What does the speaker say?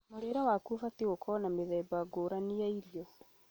mũrĩĩre waku ũbatiĩ gũkorwo na mĩthemba ngũrani ya irio